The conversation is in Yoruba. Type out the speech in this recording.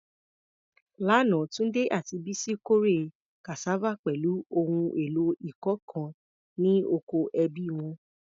Lánàá, Tunde àti Bisi kórè cassava pẹ̀lú ohun èlò ìkọ́ nǹkan ní oko ẹbí wọn.